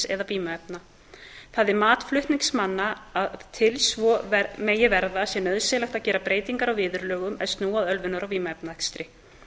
eða vímuefna það er mat flutningsmanna að til að svo megi verða sé nauðsynlegt að gera breytingar á viðurlögum er snúa að ölvunar og vímuefnaakstri